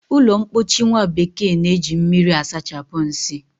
Ụlọmpochi nwabekee na-eji mmiri asachapụ nsị